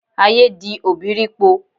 Ayé di òbírípo.